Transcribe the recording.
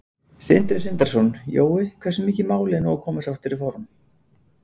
Sindri Sindrason: Jói, hversu mikið mál er nú að koma sér aftur í form?